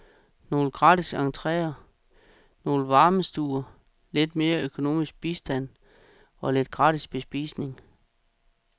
Nogle gratis entreer, nogle varmestuer, lidt mere økonomisk bistand og lidt gratis bespisning.